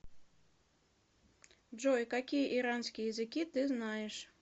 джой какие иранские языки ты знаешь